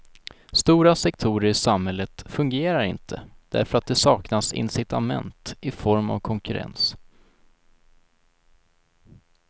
Stora sektorer i samhället fungerar inte därför att det saknas incitament i form av konkurrens.